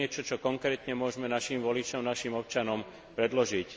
To je niečo, čo konkrétne môžeme našim voličom, našim občanom predložiť.